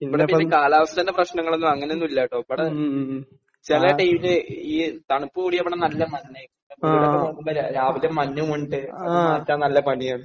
ഇവിടെ പിന്നെ കാലാവസ്ഥയുടെ പ്രശ്നങ്ങളൊന്നും അങ്ങനെയൊന്നും ഇല്ലാട്ടോ. ഇവിടെ ചില ഡേയ്സ് ഈ തണുപ്പ് കൂടി ഇവിടെ നല്ല മഞ്ഞ് നോക്കുമ്പോൾ രാവിലെ മഞ്ഞ് മൂടി . അത് മാറ്റാൻ നല്ല പണിയാണ്.